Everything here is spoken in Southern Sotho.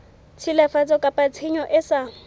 tshilafatso kapa tshenyo e sa